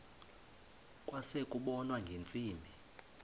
kwase kubonwa ngeentsimbi